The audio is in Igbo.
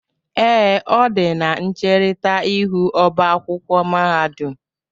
Ee, ọ dị na ncherita ihu oba akwụkwọ mahadum